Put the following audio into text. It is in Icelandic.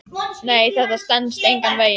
Nei, þetta stenst engan veginn.